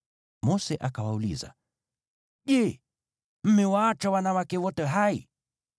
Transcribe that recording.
Mose akawauliza, “Je, mmewaacha wanawake wote hai?”